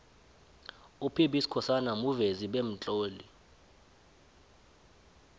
up b skhosana muvezi bemtloli